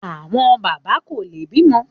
Àwọn bàbá kò lè bímọ